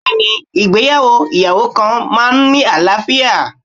Bẹẹni, ìgbéyàwó oniyawo kan máa ń ní àlàáfíà.